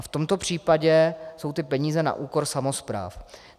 A v tomto případě jsou ty peníze na úkor samospráv.